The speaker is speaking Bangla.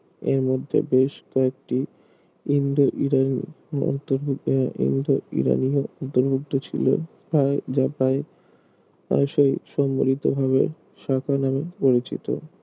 এর মধ্যে বেশ কয়েকটি ইন্দো ইরান মন্তর আহ ইন্দো ইরানিও উপলব্ধ ছিল আর যা পাই আসোই সম্বলিত ভাবে সাকা নামে পরিচিত